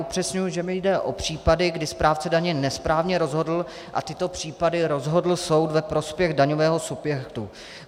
Upřesňuji, že mi jde o případy, kdy správce daně nesprávně rozhodl a tyto případy rozhodl soud ve prospěch daňového subjektu.